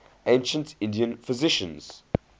ancient indian physicians